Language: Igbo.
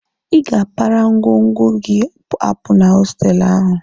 Ị ga-apara ngwongwo gị apụ na hostelụ ahụ!